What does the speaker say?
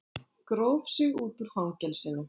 Gróf sig út úr fangelsinu